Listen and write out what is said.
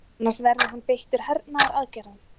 Annars verði hann beittur hernaðaraðgerðum